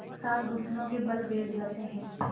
एक साथ घुटनों के बल बैठ जाते हैं